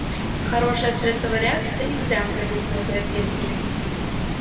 хорошая стрессовая реакция и впрямь годится в оперативники